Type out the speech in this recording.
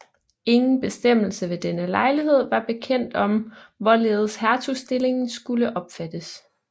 Ingen bestemmelse ved denne lejlighed var bekendt om hvorledes hertugstillingen skulle opfattes